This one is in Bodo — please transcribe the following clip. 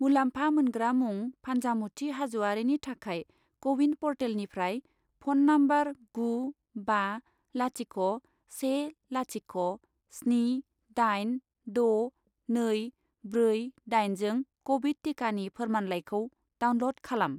मुलामफा मोनग्रा मुं फानजामुथि हाज'वारिनि थाखाय क' विन प'र्टेलनिफ्राय फ'न नम्बर गु बा लाथिख' से लाथिख' स्नि दाइन द' नै ब्रै दाइन जों क'विड टिकानि फोरमानलाइखौ डाउनल'ड खालाम।